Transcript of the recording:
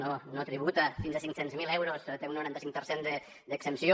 no no tributa fins a cinc cents miler euros té un noranta cinc per cent d’exempció